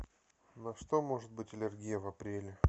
на что может быть аллергия в апреле